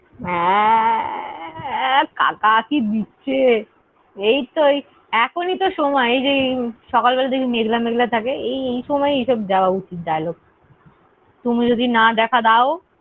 হ্যাঁ। কাকা কি দিচ্ছে। এই তো এখনই তো সময়। এই যে সকাল বেলা দেখবি মেঘলা মেঘলা থাকে। এই সময় ই এসব দেওয়া উচিত dialogue । তুমি যদি না দেখা দাও।